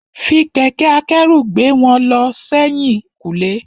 Fi kẹ̀kẹ́ akẹ́rù gbé wọn lọ sẹ́yìn kùlé.